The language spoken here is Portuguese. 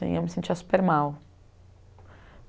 Eu me sentia super mal.